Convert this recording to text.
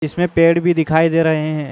इसमे पेड़ भी दिखई दे रहे हे।